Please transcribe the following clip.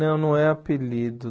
Não, não é apelido.